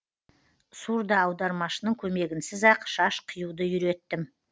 сурдоаудармашының көмегінсіз ақ шаш қиюды үйреттім